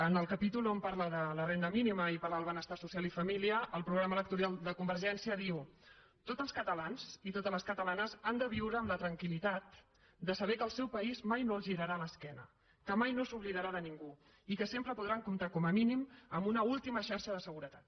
en el capítol on parla de la renda mínima i parla del benestar social i família el programa electoral de convergència diu tots els catalans i totes les catalanes han de viure amb la tranquilp aís mai no els girarà l’esquena que mai no s’oblidarà de ningú i que sempre podran comptar com a mínim amb una última xarxa de seguretat